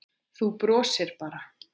Þú brosir bara!